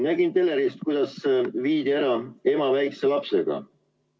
Nägin telerist, kuidas viidi ära ema väikese lapsega.